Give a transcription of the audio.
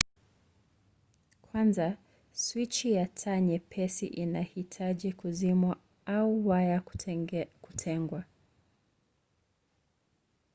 kwanza swichi ya taa nyepesi inahitaji kuzimwa au waya kutengwa